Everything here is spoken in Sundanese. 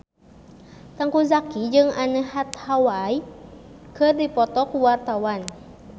Teuku Zacky jeung Anne Hathaway keur dipoto ku wartawan